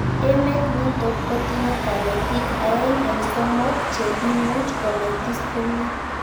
Emet nitok kotinye kanetik aeng eng' somok che imuchi konetis komie